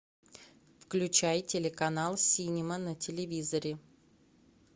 включай телеканал синема на телевизоре